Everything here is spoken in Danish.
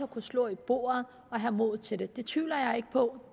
kunne slå i bordet og have mod til det det tvivler jeg ikke på